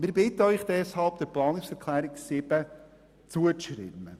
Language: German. Wir bitten Sie deshalb, der Planungserklärung 7 zuzustimmen.